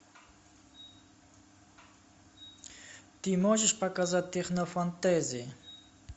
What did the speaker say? ты можешь показать технофэнтези